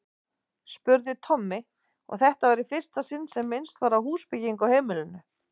spurði Tommi, og þetta var í fyrsta sinn sem minnst var á húsbyggingu á heimilinu.